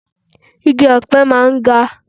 Igi ọ̀pẹ máa ń ga.